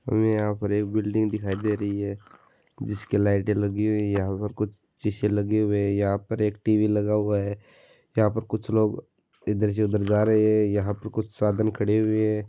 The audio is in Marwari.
मुझे यहाँ पर एक बिल्डिंग दिखाय दे रही है ये जिसकी लाईट लगी हुई है यहाँ इधर कुछ सीसे लगे हुये है यहाँ पे एक टी.वी लगा हुवा है यहाँ पे कुछ लोग इधर से उधर जा रहे है यहाँ पर कुछ साधन खड़े हुये है।